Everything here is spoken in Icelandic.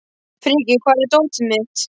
Frikki, hvar er dótið mitt?